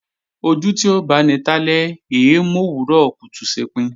Ojú tí ó báni talẹ́ è é mòwúrọ̀ kùtù ṣepin